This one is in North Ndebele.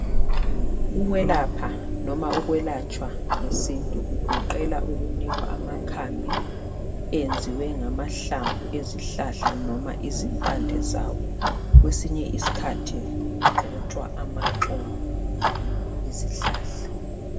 Ukwelapha noma ukwelatshwa ngesintu kugoqela ukunikwa amakhambi enziwe ngamahlamvu ezihlahla noma izimpande zawo, kwesinye isikhathi kugxotswa amaxolo ezihlahla.